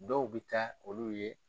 Dɔw bɛ taa olu ye.